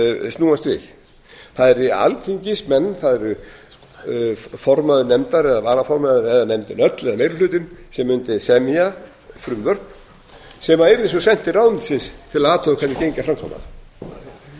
snúast við það yrðu alþingismenn það yrði formaður nefndar eða varaformaður eða nefndin öll eða meiri hlutinn sem mundi semja frumvörp sem yrðu svo send til ráðuneytisins til að athuga hvernig gengi að framkvæma